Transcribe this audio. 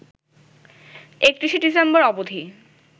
৩১শে December অবধি